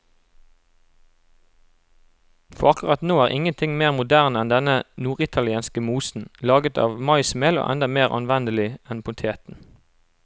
For akkurat nå er ingenting mer moderne enn denne norditalienske mosen, laget av maismel og enda mer anvendelig enn poteten.